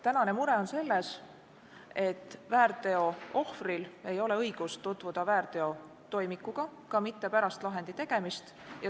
Tänane mure on selles, et väärteo ohvril ei ole õigust tutvuda väärteotoimikuga, ka mitte pärast lahendi tegemist.